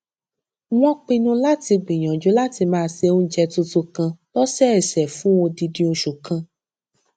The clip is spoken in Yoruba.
wón pinnu láti gbìyànjú láti máa ṣe oúnjẹ tuntun kan lósòòsè fún odindi oṣù kan